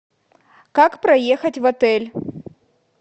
как проехать в отель